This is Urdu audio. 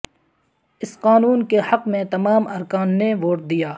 اس قانون کے حق میں تمام ارکان نے ووٹ دیا